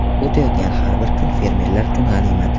O‘tayotgan har bir kun fermerlar uchun g‘animat.